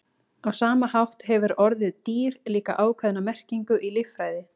á sama hátt hefur orðið „dýr“ líka ákveðna merkingu í líffræði